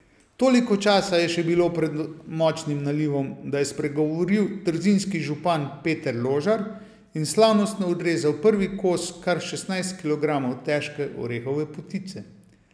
Toliko časa je še bilo pred močnim nalivom, da je spregovoril trzinski župan Peter Ložar in slavnostno odrezal prvi kos kar šestnajst kilogramov težke orehove potice.